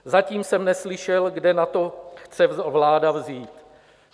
Zatím jsem neslyšel, kde na to chce vláda vzít.